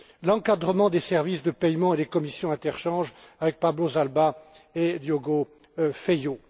Schmidt l'encadrement des services de paiement et des commissions interchange, avec Pablo Zalba et Diogo